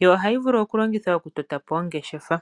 yo ohayi vulu oku longithwa oku tota po ongeshefa.